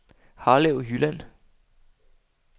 Harlev Jylland